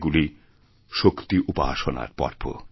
এগুলিশক্তিউপাসনার পর্ব